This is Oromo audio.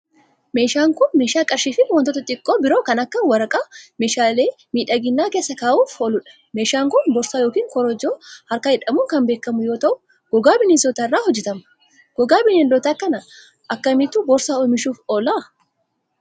Meeshaan kun, meeshaa qarshii fi wantoota xixiqqoo biroo kan akka waraqaa fi meeshaalee miidhaginaa keessa kaawwachuuf oolu dha. Meeshaan kun, boorsaa yokin korojoo harkaa jedhamuun kan beekamu yoo ta'u gogaa bineensotaa irraa hojjatama. Gogaa bineeldotaa kan akka kamiitu boorsaa oomishuuf oola?